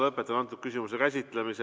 Lõpetan selle küsimuse käsitlemise